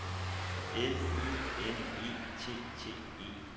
L I N E T T E